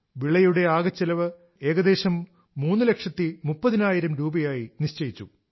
വിളയുടെ ആകെ ചെലവ് ഏകദേശം മൂന്ന് ലക്ഷം മുപ്പതിനായിരം രൂപയായി നിശ്ചയിച്ചു